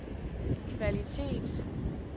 kvalitet